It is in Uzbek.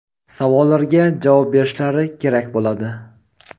savollarga javob berishlari kerak bo‘ladi.